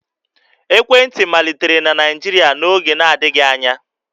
Ekwentị malitere na Naịjirịa n'oge na-adịghị anya